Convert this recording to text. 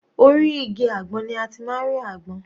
Orí igi àgbọn ni a ti máa ń rí àgbọn.